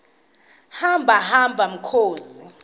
hamba hamba mkhozi